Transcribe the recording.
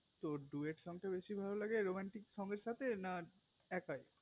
তো duet এর song বেশি ভালো লাগে romantic song এর সাথে না একই